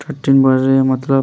thirteen बज रहे हैं मतलब --